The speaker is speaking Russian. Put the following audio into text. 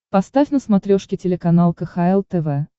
поставь на смотрешке телеканал кхл тв